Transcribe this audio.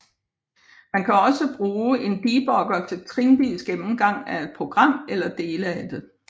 Man kan også bruge en debugger til trinvis gennemgang af et program eller dele af det